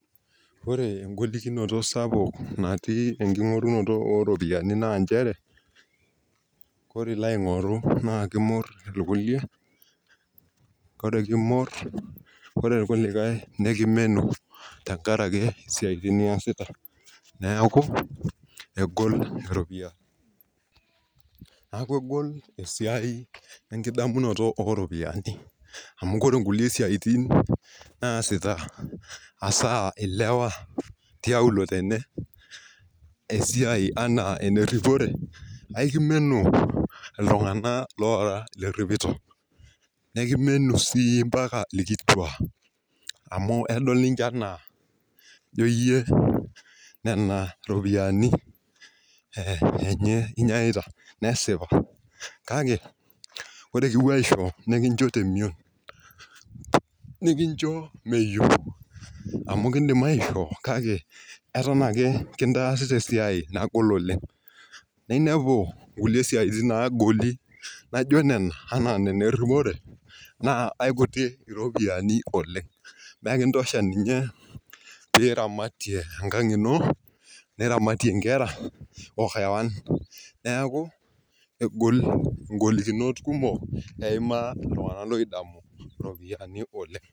Ore engolikinoto sapuk natii enking'orunoto oo ropiyani naa nchere, ore ilo aing'oru naa kimorr irkulie, ore kimorr ore irkulikae nekimenu tenkaraki siyaitin niyasita, neeku egol irropiyani nekuu egol esiai oo ekidamunoto oo ropiyani amu ore nkulie siaitin naasita hasaa ilewa tiaulo tene esiai enaa ene ripore aikimenu illtung'anak liiripito, ekimenu sii mpaka irkituak amu edol ninche enaa ijo iye nena ropiyani enye inyeaita nesip kake ore kipuo aisho nikincho temion, nikincho meyeu amu kiindim aishoo kake eton ake kintaarita esiai nagol oleng' ,ninepu inkule siaitin naagol naijo nena ene rripore naa aikutik irropiyiani oleng' mekintosha ninye pee iramatie enkang' ino, niramatie inkera neeku egol ingolikinot kumok eimaa iltung'anak oodamu iropiyani oleng'.